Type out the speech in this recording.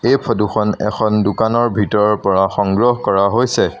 এই ফটো খন এখন দোকানৰ ভিতৰৰ পৰা সংগ্ৰহ কৰা হৈছে।